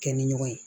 Kɛ ni ɲɔgɔn ye